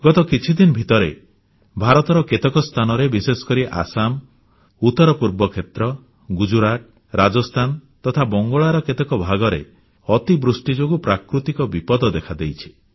ଗତ କିଛିଦିନ ଭିତରେ ଭାରତର କେତେକ ସ୍ଥାନରେ ବିଶେଷକରି ଆସାମ ଉତ୍ତରପୂର୍ବ କ୍ଷେତ୍ର ଗୁଜରାଟ ରାଜସ୍ଥାନ ତଥା ବଙ୍ଗଳାର କେତେକ ଭାଗରେ ଅତିବୃଷ୍ଟି ଯୋଗୁଁ ପ୍ରାକୃତିକ ବିପଦ ଦେଖାଦେଇଛି